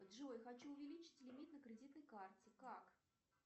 джой хочу увеличить лимит на кредитной карте как